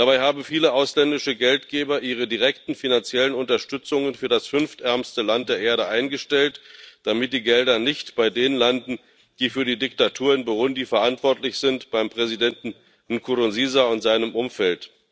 Dabei haben viele ausländische Geldgeber ihre direkten finanziellen Unterstützungen für das fünftärmste Land der Erde eingestellt, damit die Gelder nicht bei denen landen, die für die Diktatur in Burundi verantwortlich sind, beim Präsidenten Nkurunziza und seinem Umfeld.